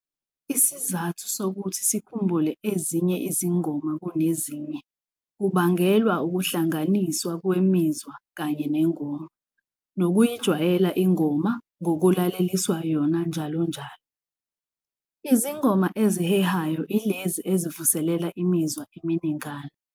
Isizathu sokuthi sikhumbule ezinye izingoma kunezinye, kubangelwa ukuhlanganiswa kwemizwa kanye nengoma nokuyijwayela ingoma ngokulaleliswa yona njalonjalo. Izingoma ezihehayo ilezi esivuselela imizwa eminingana.